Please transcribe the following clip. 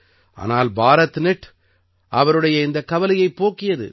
ஆனால் பாரத்நெட் அவருடைய இந்தக் கவலையைப் போக்கியது